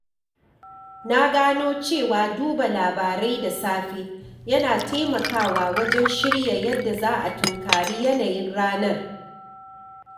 Na gano cewa duba labarai da safe yana taimakawa wajen shirya yadda za a tunkari yanayin ranar.